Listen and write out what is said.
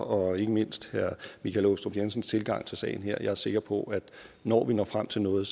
og ikke mindst herre michael aastrup jensens tilgang til sagen her jeg er sikker på at når vi når frem til noget